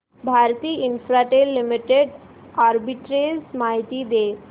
Bharti Infratel limited arbitrage माहिती दे